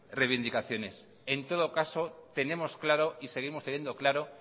reivindicaciones en todo caso tenemos claro y seguimos teniendo claro